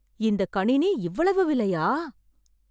இந்த கணினி இவ்வளவு விலையா